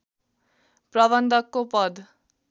प्रबन्धकको पद